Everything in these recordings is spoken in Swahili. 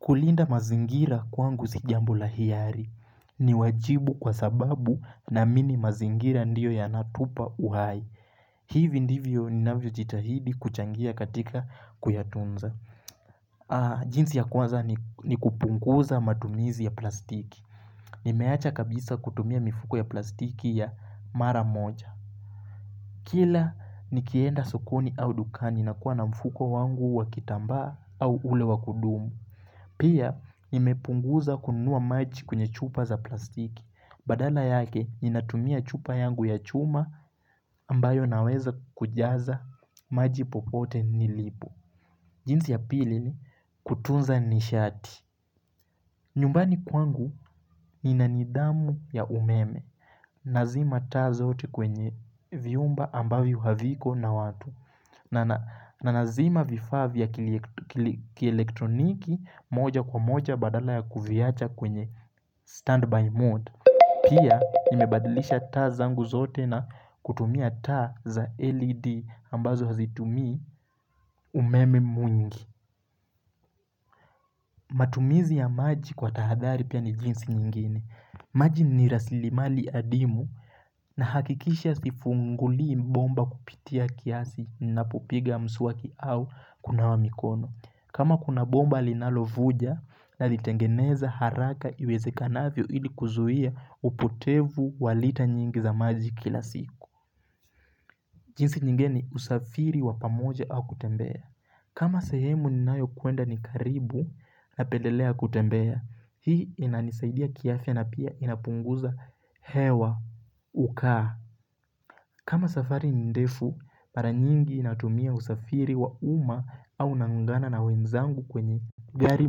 Kulinda mazingira kwangu si jambo la hiari. Ni wajibu kwa sababu naamini mazingira ndiyo yanatupa uhai. Hivi ndivyo ni navyo jitahidi kuchangia katika kuyatunza. Jinsi ya kwanza ni kupunguza matumizi ya plastiki. Nimeacha kabisa kutumia mifuko ya plastiki ya mara moja. Kila nikienda sokoni au dukani na kuwa na mfuko wangu wakitambaa au ule wakudumu. Pia imepunguza kununua maji kwenye chupa za plastiki. Badala yake ninatumia chupa yangu ya chuma ambayo naweza kujaza maji popote nilipo. Jinsi ya pili ni kutunza nishati. Nyumbani kwangu nina nidhamu ya umeme, nazima ta zote kwenye viumba ambavyo haviko na watu, na na lazima vifaa ya kielektroniki moja kwa moja badala ya kuviyacha kwenye standby mode. Pia, nimebadilisha taa zangu zote na kutumia ta za LED ambazo hazitumii umeme mwingi. Matumizi ya maji kwa tahadhari pia ni jinsi nyingine. Maji ni rasilimali adimu nahakikisha sifungulii bomba kupitia kiasi nipopiga mswaki au kunawa mikono. Kama kuna bomba linalovuja na litengeneza haraka iwezekanavyo ili kuzuia upotevu walita nyingi za maji kila siku. Jinsi nyingini usafiri wa pamoja au kutembea. Kama sehemu ninayo kuenda ni karibu napendelea kutembea hii inanisaidia kiafya na pia inapunguza hewa ukaa kama safari nindefu mara nyingi inatumia usafiri wa uma au naungana na wenzangu kwenye gari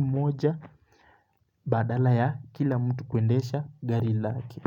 moja badala ya kila mtu kuendesha gari lake.